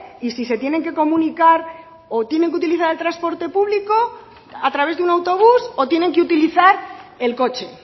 y si se tienen que comunicar o tienen que utilizar el transporte público a través de un autobús o tienen que utilizar el coche